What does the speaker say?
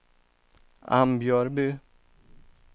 Ambjörby